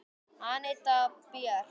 Anita Björt.